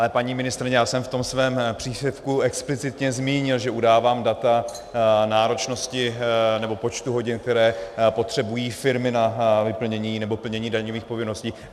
Ale paní ministryně, já jsem v tom svém příspěvku explicitně zmínil, že udávám data náročnosti nebo počtu hodin, které potřebují firmy na vyplnění nebo plnění daňových povinností.